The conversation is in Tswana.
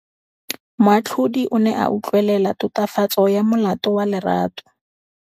Moatlhodi o ne a utlwelela tatofatsô ya molato wa Lerato.